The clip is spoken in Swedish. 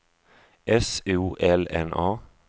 S O L N A